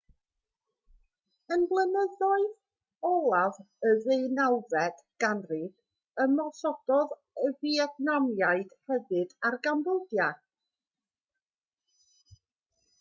ym mlynyddoedd olaf y ddeunawfed ganrif ymosododd y fietnamiaid hefyd ar gambodia